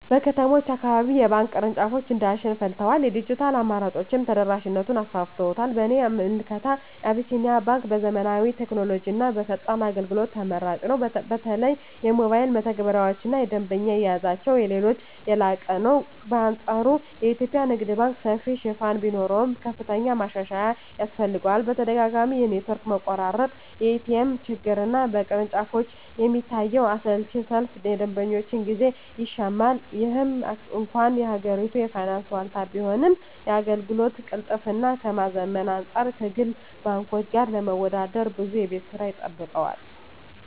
በከተሞች አካባቢ የባንክ ቅርንጫፎች እንደ አሸን ፈልተዋል፤ የዲጂታል አማራጮችም ተደራሽነቱን አሰፍተውታል። በእኔ ምልከታ አቢሲኒያ ባንክ በዘመናዊ ቴክኖሎጂና በፈጣን አገልግሎት ተመራጭ ነው። በተለይ የሞባይል መተግበሪያቸውና የደንበኛ አያያዛቸው ከሌሎች የላቀ ነው። በአንፃሩ የኢትዮጵያ ንግድ ባንክ ሰፊ ሽፋን ቢኖረውም፣ ከፍተኛ ማሻሻያ ያስፈልገዋል። ተደጋጋሚ የኔትወርክ መቆራረጥ፣ የኤቲኤም ችግርና በቅርንጫፎች የሚታየው አሰልቺ ሰልፍ የደንበኞችን ጊዜ ይሻማል። ምንም እንኳን የሀገሪቱ የፋይናንስ ዋልታ ቢሆንም፣ የአገልግሎት ቅልጥፍናን ከማዘመን አንፃር ከግል ባንኮች ጋር ለመወዳደር ብዙ የቤት ሥራ ይጠብቀዋል።